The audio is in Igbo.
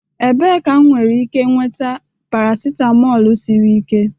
Ebee ka m nwere ike nweta paracetamol siri ike?